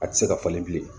A tɛ se ka falen bilen